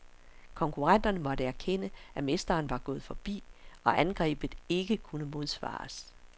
Konkurrenterne måtte erkende, at mesteren var gået forbi, og angrebet ikke kunne modsvares.